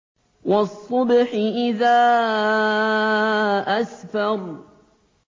وَالصُّبْحِ إِذَا أَسْفَرَ